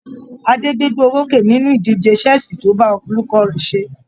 Adé gbégbá orókè nínú ìdíje ṣẹ́ẹ̀ṣì tó bá olùkọ́ rẹ̀ ṣe.